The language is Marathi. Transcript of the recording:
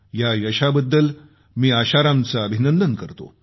या यशाबद्दल मी आशारामचे अभिनंदन करतो